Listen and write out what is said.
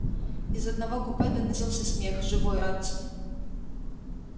из одного купе доносился смех живой радостный